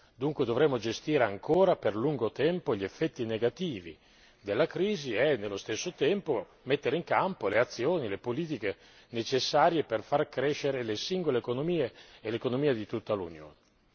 Dunque dovremo gestire ancora per lungo tempo gli effetti negativi della crisi e, nello stesso tempo, mettere in campo le azioni e le politiche necessarie per far crescere le singole economie e l'economia di tutta l'Unione.